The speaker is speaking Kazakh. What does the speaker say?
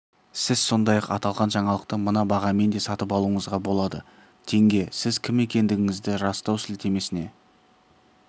сіз сондай-ақ аталған жаңалықты мына бағамен де сатып алуыңызға болады тенге сіз кім екендігіңізді растау сілтемесіне